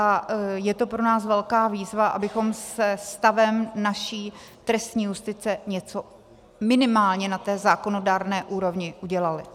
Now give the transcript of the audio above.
A je to pro nás velká výzva, abychom se stavem naší trestní justice něco minimálně na té zákonodárné úrovni udělali.